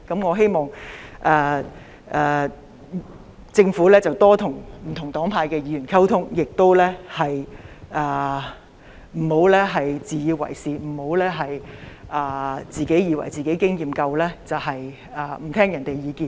我希望政府會多些與不同黨派的議員溝通，不要自以為是，不要以為自己經驗豐富，便不聆聽別人的意見。